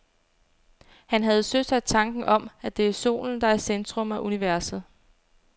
Han havde søsat tanken om, at det er solen, der er i centrum af universet.